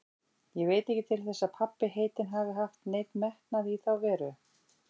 Ég veit ekki til þess að pabbi heitinn hafi haft neinn metnað í þá veru.